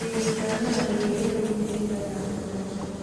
ĩĩ ndarora ĩrĩa iraumire ira ya ũtongoria.